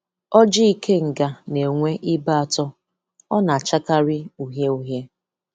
Ọjị ikenga na-enwe ibe atọ, ọ na-achakarị uhie-uhie.